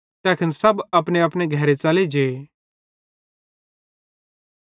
तैखन सब अपनेअपने घरे च़ले जे